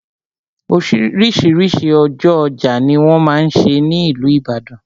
Oríṣiríṣi ọjọ́ ọjà ni wọ́n máa n ṣe ní ìlú Ìbàdàn.